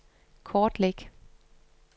kortlæg